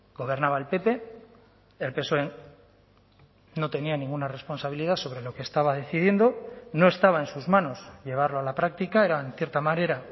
gobernaba el pp el psoe no tenía ninguna responsabilidad sobre lo que estaba decidiendo no estaba en sus manos llevarlo a la práctica era en cierta manera